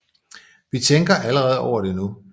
Vi tænker allerede over det nu